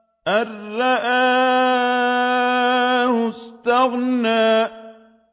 أَن رَّآهُ اسْتَغْنَىٰ